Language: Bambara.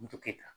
Moto kɛ